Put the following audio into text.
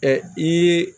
i ye